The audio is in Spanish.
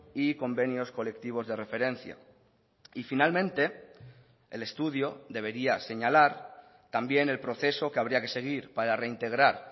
y convenios colectivos de referencia y finalmente el estudio debería señalar también el proceso que habría que seguir para reintegrar